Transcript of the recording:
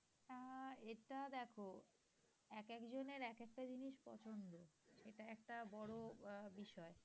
এটা দেখ একেক জনের একেক টা জিনিস পছন্দ, এটা একটা বড় বিষয়।